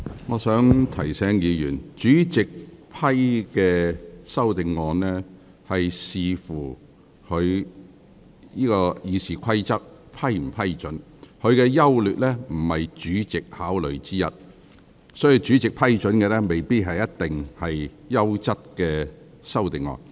我想提醒議員，主席是根據《議事規則》決定修正案應否獲准提出，修正案的優劣並非考慮因素，所以主席批准提出的修正案未必是優質的修正案。